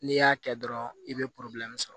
N'i y'a kɛ dɔrɔn i be sɔrɔ